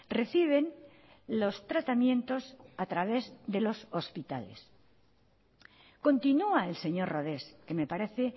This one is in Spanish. reciben los tratamientos a través de los hospitales continúa el señor rodés que me parece